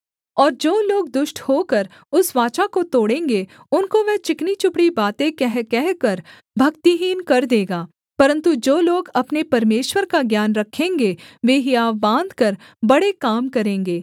और जो लोग दुष्ट होकर उस वाचा को तोड़ेंगे उनको वह चिकनीचुपड़ी बातें कह कहकर भक्तिहीन कर देगा परन्तु जो लोग अपने परमेश्वर का ज्ञान रखेंगे वे हियाव बाँधकर बड़े काम करेंगे